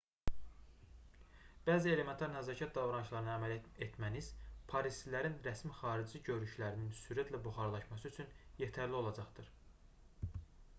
bəzi elementar nəzakət davranışlarına əməl etməniz parislilərin rəsmi xarici görünüşlərinin sürətlə buxarlaşması üçün yetərli olacaqdır